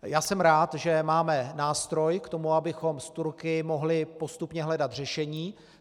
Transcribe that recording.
Já jsem rád, že máme nástroj k tomu, abychom s Turky mohli postupně hledat řešení.